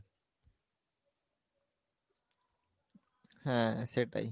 হ্যাঁ সেটাই,